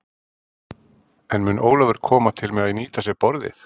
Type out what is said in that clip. En mun Ólafur koma til með að nýta sér borðið?